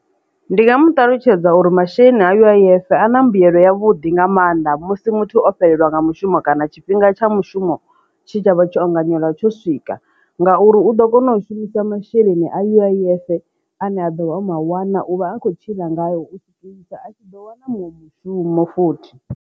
Ndi nga mu ṱalutshedza uri masheleni a U_I_F a na mbuyelo ya vhuḓi nga maanḓa musi muthu o fhelelwa nga mushumo kana tshifhinga tsha mushumo tshi tshavha tsho anganyela tsho swika ngauri u ḓo kona u shumisa masheleni a U_I_F ane a ḓo vha oma wana uvha a kho tshila ngao u zwikela a tshi ḓo wana munwe mushumo futhi.